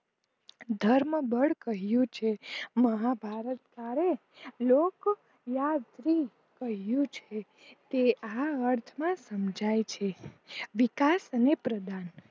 ધર્મબડ કહ્યું છે મહાભારત આરે લોક યાત્રી કહ્યું છે તે આ અર્થ માં સમજાય છે વિકાસ અને પ્રદાન